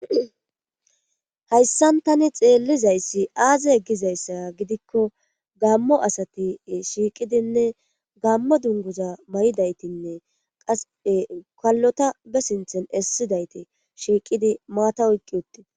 Hayssan tani xeellizayssi aaze eggizayssa gidikko gammo asati shiiqidinne gammo dunguza may'idaytinne qase kallota be sinthen essidayti shiiqidi maata oyqqi utti.